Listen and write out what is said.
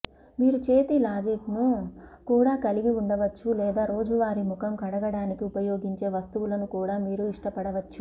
మీరు చేతి లాజిన్ను కూడా కలిగి ఉండవచ్చు లేదా రోజువారీ ముఖం కడగడానికి ఉపయోగించే వస్తువులను కూడా మీరు ఇష్టపడవచ్చు